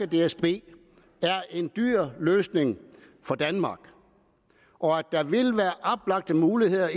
dsb er en dyr løsning for danmark og at der vil være oplagte muligheder